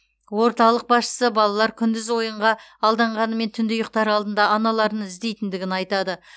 орталық басшысы балалар күндіз ойынға алданғанымен түнде ұйықтар алдында аналарын іздейтіндігін айтады